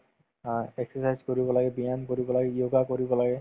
অ, exercise কৰিব লাগে ব্যায়াম কৰিব লাগে yoga কৰিব লাগে